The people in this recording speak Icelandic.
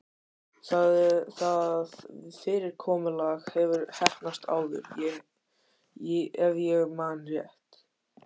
Það fyrirkomulag hefur heppnast áður- ef ég man rétt.